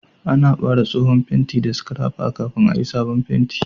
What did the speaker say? Ana bare tsohon fenti daga bangon da scrapper kafin a yi'sabon penti.